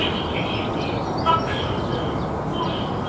Çəçikləşirdi, qapışırdı, vuruşurdu.